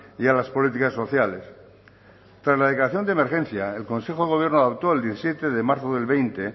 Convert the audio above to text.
y a las políticas sociales tras la declaración de emergencia el consejo de gobierno adoptó el diecisiete de marzo del veinte